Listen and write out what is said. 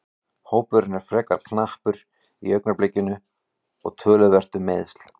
Hópurinn er frekar knappur í augnablikinu og töluvert um meiðsl.